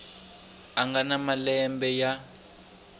a nga na malembe ya